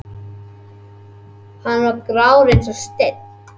Hann var grár eins og steinn.